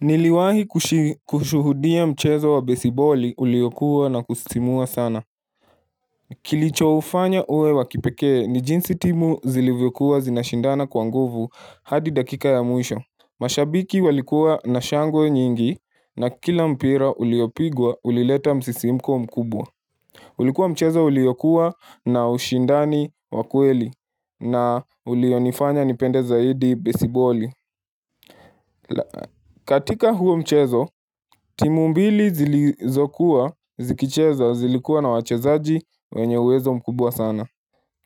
Niliwahi kushuhudia mchezo wa besiboli uliyokuwa na kusisimua sana Kilichoufanya uwe wa kipekee ni jinsi timu zilivyokuwa zinashindana kwa nguvu hadi dakika ya mwisho mashabiki walikuwa na shangwe nyingi na kila mpira uliyopigwa ulileta msisimko mkubwa ulikuwa mchezo uliyokuwa na ushindani wa kweli na ulionifanya nipende zaidi besiboli katika huo mchezo, timu mbili zilizokuwa, zikicheza, zilikuwa na wachezaji wenye uwezo mkubwa sana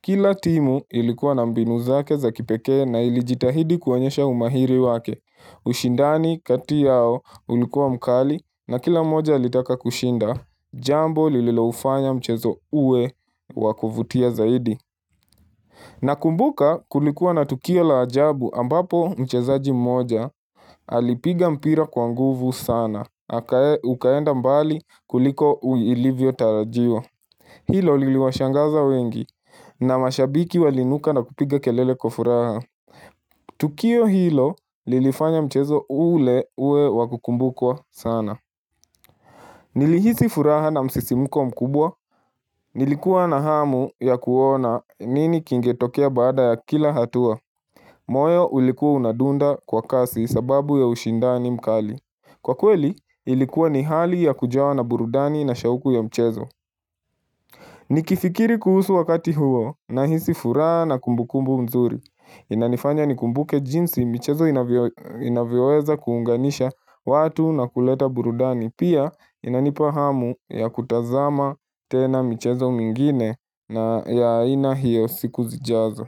Kila timu ilikuwa na mbinu zake za kipekee na ilijitahidi kuonyesha umahiri wake ushindani kati yao ulikuwa mkali na kila moja alitaka kushinda Jambo lililoufanya mchezo uwe wa kuvutia zaidi Nakumbuka kulikuwa na tukio la ajabu ambapo mchezaji mmoja alipiga mpira kwa nguvu sana na ukaenda mbali kuliko uilivyotarajiwa. Hilo liliwashangaza wengi na mashabiki waliinuka na kupiga kelele kwa furaha. Tukio hilo lilifanya mchezo ule ue wa kukumbukwa sana. Nilihisi furaha na msisimko mkubwa nilikuwa na hamu ya kuona nini kingetokea baada ya kila hatua. Moyo ulikuwa unadunda kwa kasi sababu ya ushindani mkali. Kwa kweli, ilikuwa ni hali ya kujawa na burudani na shauku ya mchezo. Nikifikiri kuhusu wakati huo nahisi furaha na kumbukumbu mzuri. Inanifanya nikumbuke jinsi mchezo inavyoweza kuunganisha watu na kuleta burudani. Pia inanipa hamu ya kutazama tena michezo mingine na ya aina hiyo siku zijazo.